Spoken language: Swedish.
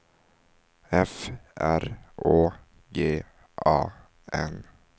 F R Å G A N